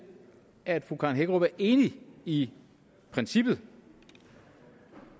at fru karen hækkerup er enig i princippet